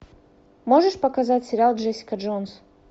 можешь показать сериал джессика джонс